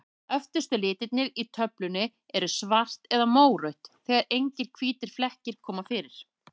Öftustu litirnir í töflunni eru svart eða mórautt, þegar engir hvítir flekkir koma fyrir.